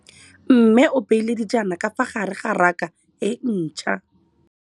Mmê o beile dijana ka fa gare ga raka e ntšha.